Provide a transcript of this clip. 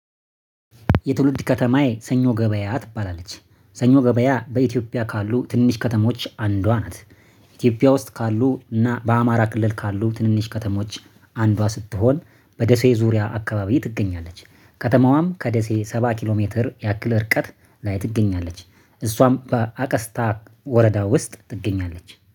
የትውልድ ከተማዬ ሰኞ ገበያ ትባላለች ሰኞ ገበያ በኢትዮጵያ ካሉ ትንንሽ ከተሞች አንዷ ናት። ኢትዮጵያ ውስጥ ካሉ እና በአማራ ክልል ካሉ ትንንሽ ከተሞች አንዷ ስትሆን በደሴ ዙሪያ አካባቢ ትገኛለች። ከተማዋም ከደሴ ሰባ ኪሎ ሜትር ያክል እርቀት ላይ ትገኛለች። እሷም በአቀስታ ወረዳ ውስጥ ትገኛለች